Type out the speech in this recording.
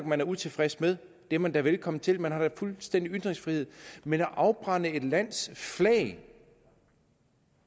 man er utilfreds med om det er man da velkommen til man har da fuldstændig ytringsfrihed men at afbrænde et lands flag